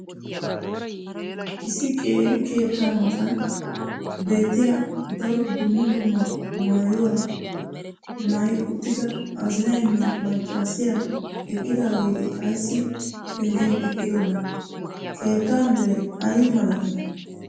issi qeeri keettaa matan beettiya daro dumma dumma maayuwa maayi uttida azzinaynne maccaassiya diyaageeti ayssi pengen eqqidonaa? keetta meray ayi malattii?